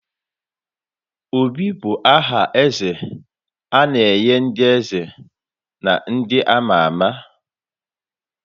Obi bụ aha eze a na-enye ndị eze na ndị ama ama.